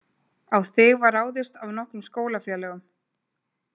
Á þig var ráðist af nokkrum skólafélögum.